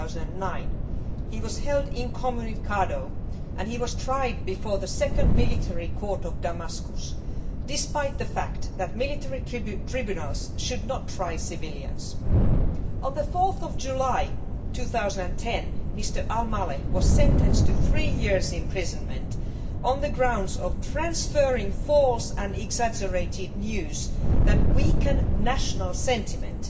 2009. He was held incommunicado and tried before the Second Military Court of Damascus, despite the fact that military tribunals should not try civilians. On 4 July 2010, Mr Al Maleh was sentenced to three years in prison on the grounds of transferring false and exaggerated news that weakens national sentiment'.